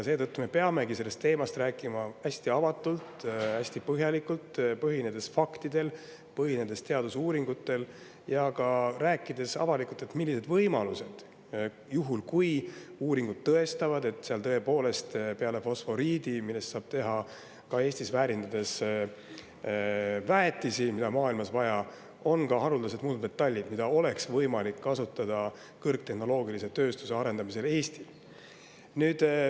Seetõttu me peamegi sellest teemast rääkima hästi avatult, hästi põhjalikult, põhinedes faktidel, põhinedes teadusuuringutel, ja rääkides avalikult, millised on võimalused, juhul kui uuringud tõestavad, et seal tõepoolest peale fosforiidi, millest saab ka Eestis seda väärindades teha väetist, mida on maailmas vaja, on ka haruldased muldmetallid, mida oleks Eestis võimalik kasutada kõrgtehnoloogilise tööstuse arendamisel.